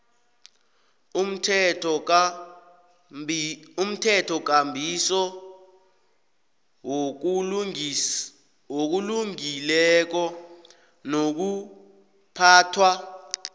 umthethokambiso wokulungileko nokuphathwa